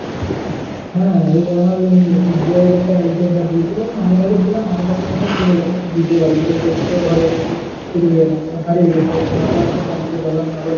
হ্যাঁ এই আমার এই SBI এর একটা card দিয়েছিল money bag এ ছিল money bag সমেত পড়ে গেছে bridge এর ধারে। নিয়ে সে ঘরে এসে দেখছি খুঁজে পাই না হারিয়ে গেছে। নিয়ে আবার সেই bank এ যেলাম।